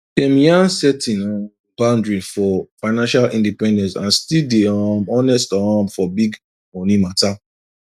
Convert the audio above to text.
dem yan setting um boundaries for financial independence and still day um honest um for big money matter